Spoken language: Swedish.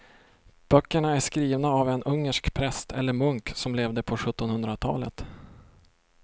Böckerna är skrivna av en ungersk präst eller munk som levde på sjuttonhundratalet.